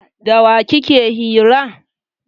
Da wa kike hira?